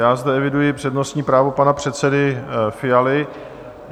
Já zde eviduji přednostní právo pana předsedy Fialy.